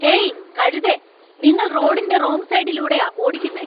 Hey, കഴുതേ. നിങ്ങൾ റോഡിന്‍റെ റോങ് സൈഡിലൂടെയാ ഓടിക്കുന്നെ.